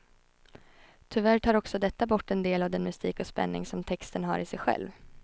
Tyvärr tar också detta bort en del av den mystik och spänning som texten har i sig själv.